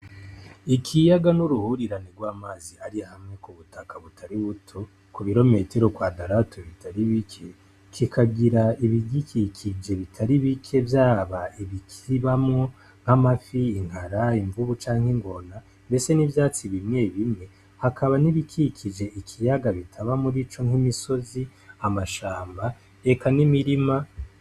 Ikiyaga n'uruhurirani rw'amazi ari hamwe ku butaka butaributo, ku birometero kwa dalato bitari bike kikagira ibigikikije bitari bike, vyaba ibikibamo nk'amafi inkara imvubu canke ingona mbese n'ivyatsi bimwe bimwe, hakaba nibikikije ikiyaga bitaba muri ico nk'imisozi amashamba reka n'imirima.